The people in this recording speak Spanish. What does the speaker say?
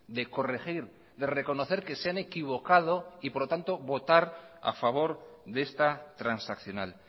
de corregir de reconocer que se han equivocado y por lo tanto votar a favor de esta transaccional